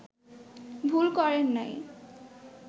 ভুল করেন নাই